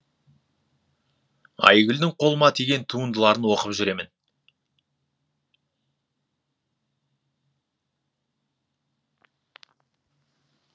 айгүлдің қолыма тиген туындыларын оқып жүремін